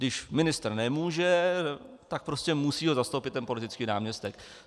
Když ministr nemůže, tak prostě ho musí zastoupit ten politický náměstek.